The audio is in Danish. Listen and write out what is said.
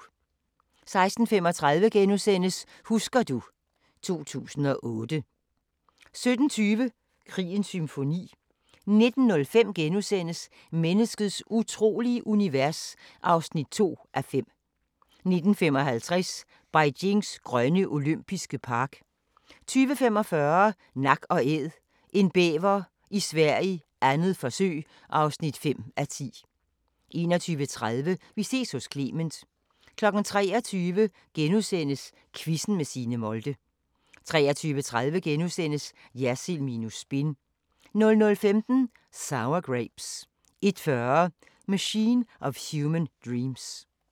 16:35: Husker du ... 2008 * 17:20: Krigens symfoni 19:05: Menneskets utrolige univers (2:5)* 19:55: Beijings grønne olympiske park 20:45: Nak & Æd – en bæver i Sverige, 2. forsøg (5:10) 21:30: Vi ses hos Clement 23:00: Quizzen med Signe Molde * 23:30: Jersild minus spin * 00:15: Sour Grapes 01:40: Machine of Human Dreams